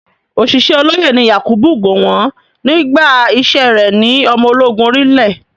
Ọ̀ṣìṣẹ́ olóyè ni Yakubu Gowon nígbà iṣẹ́ rẹ̀ ní ọmọ ológun orí ilẹ̀.